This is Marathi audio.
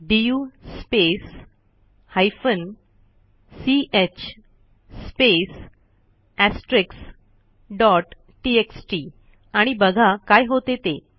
डीयू स्पेस हायफेन च स्पेस एस्ट्रिक्स डॉट टीएक्सटी आणि बघा काय होते ते